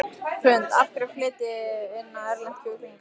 Hrund: Af hverju flytjið þið þá inn erlent kjúklingakjöt?